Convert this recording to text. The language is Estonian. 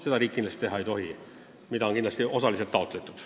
Seda riik kindlasti teha ei tohi, kuigi seda on osaliselt taotletud.